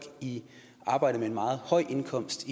i arbejde med en meget høj indkomst